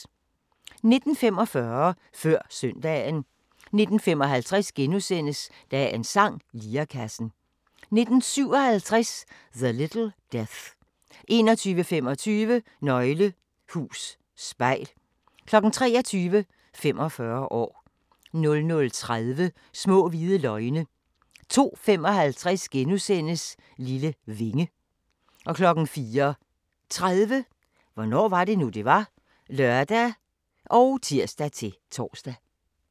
19:45: Før søndagen 19:55: Dagens sang: Lirekassen * 19:57: The Little Death 21:25: Nøgle hus spejl 23:00: 45 år 00:30: Små hvide løgne 02:55: Lille vinge * 04:30: Hvornår var det nu, det var? (lør og tir-tor)